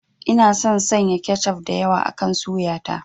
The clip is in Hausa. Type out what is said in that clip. Ina son sanya kechof da yawa akan suya ta.